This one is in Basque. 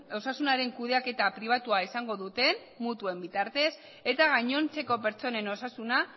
osasunaren kudeaketa pribatua izango dute mutuen bitartez eta gainontzeko pertsonen osasuna